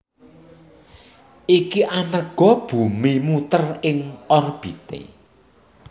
Iki amerga bumi muter ing orbité